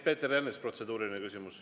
Peeter Ernits, protseduuriline küsimus.